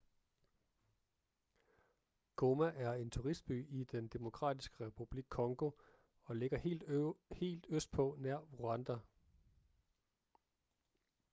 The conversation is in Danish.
goma er en turistby i den demokratiske republik congo og ligger helt østpå nær rwanda